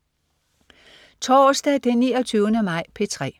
Torsdag den 29. maj - P3: